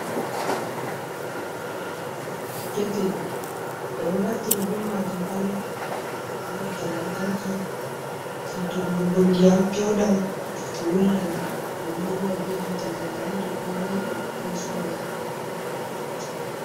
Ketel enɗo naftira be majum on be hiite lantarki, je dollugo ndiyam fewdam wulla, ɗum ɗo huwa be hiite janareto ko nepa ko sola.